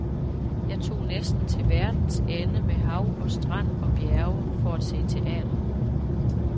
Jeg tog næsten til verdens ende med hav og strand og bjerge for at se teater.